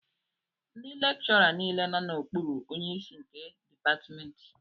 Ndị lekchọra nile nọ n'okpuru onyeisi nke dịpatmentị